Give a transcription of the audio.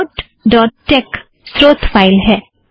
report dot tex स्रोत file है